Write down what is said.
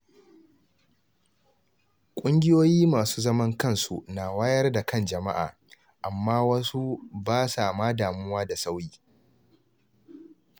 Kungiyoyi masu zaman kansu na wayar da kan jama’a, amma wasu ba sa ma damuwa da sauyi.